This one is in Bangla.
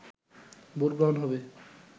ভোট গ্রহন হবে